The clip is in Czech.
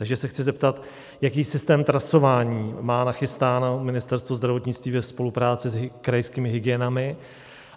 Takže se chci zeptat, jaký systém trasování má nachystáno Ministerstvo zdravotnictví ve spolupráci s krajskými hygienami